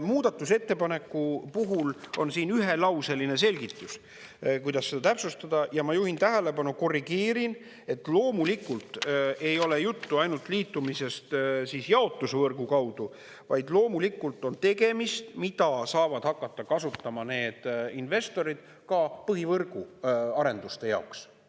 Muudatusettepaneku puhul on siin ühelauseline selgitus, kuidas seda täpsustada, ja ma juhin tähelepanu, korrigeerin, et loomulikult ei ole juttu ainult liitumisest jaotusvõrgu kaudu, vaid loomulikult on tegemist, mida saavad hakata kasutama need investorid ka põhivõrgu arenduste jaoks.